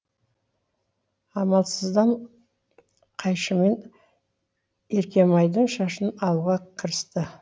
амалсыздан қайшымен еркемайдың шашын алуға кірісті